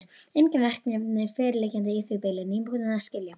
Engin verkefni fyrirliggjandi í því bili, nýbúinn að skila.